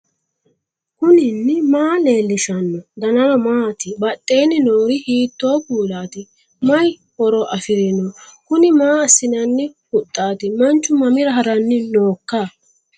knuni maa leellishanno ? danano maati ? badheenni noori hiitto kuulaati ? mayi horo afirino ? kuni maa assinanni huxxaati manchu mamira haranni nooikka